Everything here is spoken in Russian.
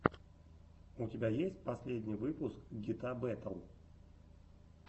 у тебя есть последний выпуск гита бэтл